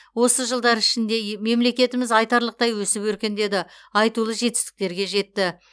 осы жылдар ішінде мемлекетіміз айтарлықтай өсіп өркендеді айтулы жетістіктерге жетті